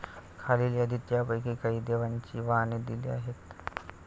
खालील यादीत यांपैकी काही देवांची वाहने दिली आहेत.